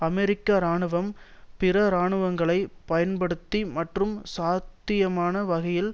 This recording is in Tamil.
அமெரிக்க இராணுவம் பிற இராணுவங்களைப் பயன்படுத்தி மற்றும் சாத்தியமான வகையில்